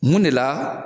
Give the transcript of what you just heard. Mun de la